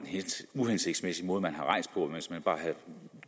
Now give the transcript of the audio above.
lidt uhensigtsmæssig måde man havde rejst på hvis man bare havde